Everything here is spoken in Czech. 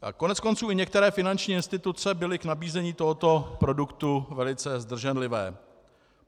Koneckonců i některé finanční instituce byly k nabízení tohoto produktu velice zdrženlivé.